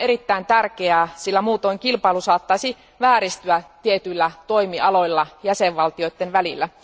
Tämä on erittäin tärkeää, sillä muutoin kilpailu saattaisi vääristyä tietyillä toimialoilla jäsenvaltioiden välillä.